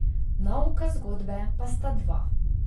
Nauka zgodbe pa sta dva.